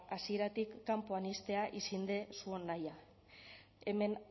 hasieratik kanpoan ixtea izan da zuon nahia hemen